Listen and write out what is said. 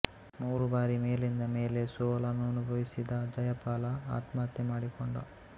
ಮೂರು ಬಾರಿ ಮೇಲಿಂದ ಮೇಲೆ ಸೋಲನ್ನನುಭವಿಸಿದ ಜಯಪಾಲ ಆತ್ಮಹತ್ಯೆ ಮಾಡಿಕೊಂಡ